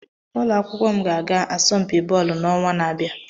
Ụlọ akwụkwọ m ga-aga asọmpi bọọlụ n'ọnwa na-abịa.